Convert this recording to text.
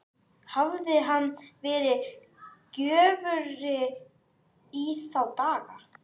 Hafði hann verið göfugri í þá daga?